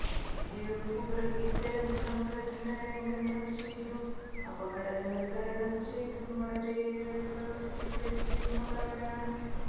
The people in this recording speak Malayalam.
ഡ്യൂപ്പുകൾ ഇത്തരം സംഘട്ടന രംഗങ്ങൾ ചെയ്തും അപകടങ്ങൾ തരണം ചെയ്തും വളരെയേറെ പ്രവർത്തി പരിചയമുള്ളവരാണ്